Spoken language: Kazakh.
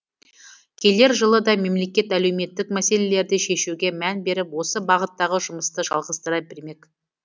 келер жылы да мемлекет әлеуметтік мәселелерді шешуге мән беріп осы бағыттағы жұмысты жалғастыра бермек